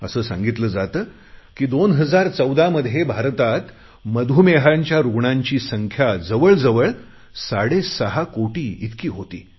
असे सांगितले जाते की 2014 मधे भारतात मधुमेहाच्या रुग्णांची संस्था साडेसहा कोटी इतकी होती